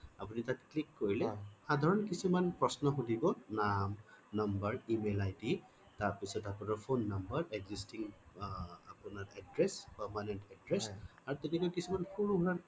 আপুনি তাত click কৰিলে সাধাৰণ কিছুমান প্ৰশ্ন সুধিব নাম number email ID তাৰ পিছত আপোনাৰ phone number existing আ আপোনাৰ address permanent address আৰু তেনেকুৱা কিছুমান সৰু সুৰা